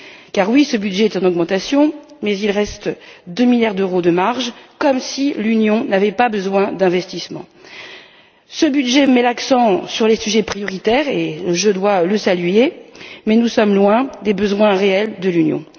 En effet, ce budget est en augmentation, mais il ne reste que 2 milliards d'euros de marge, comme si l'Union n'avait pas besoin d'investissements. Ce budget met l'accent sur les sujets prioritaires et je dois le saluer, mais nous sommes loin des besoins réels de l'Union.